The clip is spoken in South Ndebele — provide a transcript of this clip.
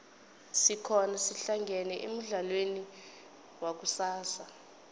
asihlangane khona emudlalweni wakusasa